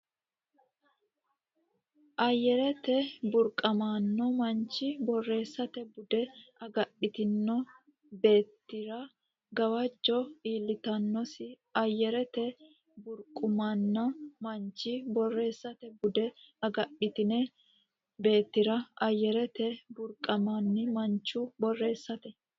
Ayyarete burquuqamanni manchi borreessate bude agadhitine beettira gawajjo iillitannosi Ayyarete burquuqamanni manchi borreessate bude agadhitine beettira Ayyarete burquuqamanni manchi borreessate.